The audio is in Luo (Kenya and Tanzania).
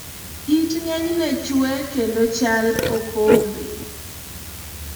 it ng'enyne chue kendo chal okombe